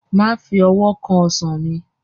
Má fi owó kan Ọsàn mi!